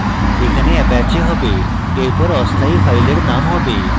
এখানে apache have এরপর অস্থায়ী file name have